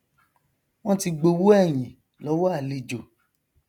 wọn ti gbowó ẹyìn lọwọ àlejò